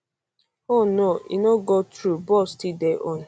oh no e no go through ball still dey on